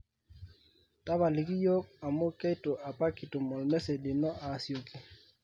tapaliki iyiok amu keitu apa kitum olmessage lino asioki